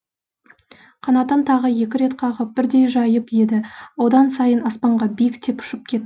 қанатын тағы екі рет қағып бірдей жайып еді одан сайын аспанға биіктеп ұшып кет